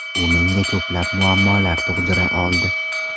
U menga ko‘plab muammolar tug‘dira oldi.